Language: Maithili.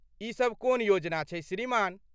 ई सब कोन योजना छै श्रीमान?